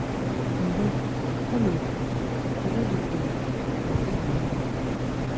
Mbụ̀, ọ̀ na-ekwù, “Enwèghị́ m enyi, mà ị bụ́ enyi m